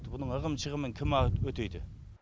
бұның ығым шығымын кім өтейді